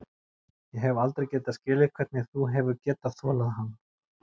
Ég hef aldrei getað skilið hvernig þú hefur getað þolað hann.